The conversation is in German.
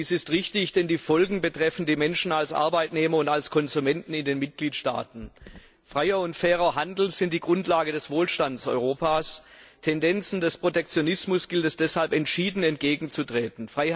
Dies ist richtig, denn die Folgen betreffen die Menschen als Arbeitnehmer und als Konsumenten in den Mitgliedstaaten. Freier und fairer Handel sind die Grundlagen des Wohlstands Europas. Tendenzen des Protektionismus gilt es deshalb entschieden entgegenzutreten.